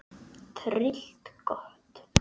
Tryllt gott!